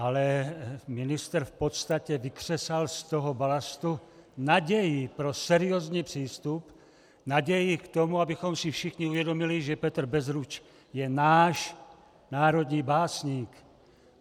Ale ministr v podstatě vykřesal z toho balastu naději pro seriózní přístup, naději k tomu, abychom si všichni uvědomili, že Petr Bezruč je náš národní básník.